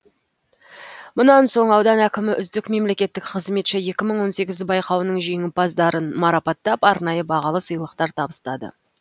мұнан соң аудан әкімі үздік мемлекеттік қызметші екі мың он сегізі байқауының жеңімпаздарын марапаттап арнайы бағалы сыйлықтар табыстады